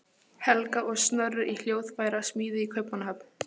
Helga, og Snorri í hljóðfærasmíði í Kaupmannahöfn.